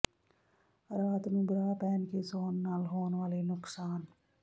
ਰਾਤ ਨੂੰ ਬ੍ਰਾ ਪਹਿਨ ਕੇ ਸੌਣ ਨਾਲ ਹੋਣ ਵਾਲੇ ਨੁਕਸਾਨ